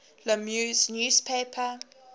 la meuse newspaper